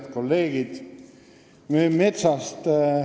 Head kolleegid!